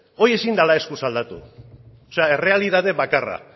hori ezin dela eskuz aldatu o sea errealitate bakarra